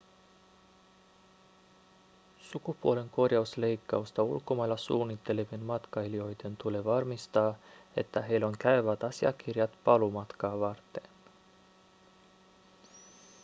sukupuolenkorjausleikkausta ulkomailla suunnittelevien matkailijoiden tulee varmistaa että heillä on käyvät asiakirjat paluumatkaa varten